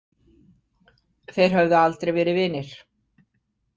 Þeir höfðu aldrei verið vinir.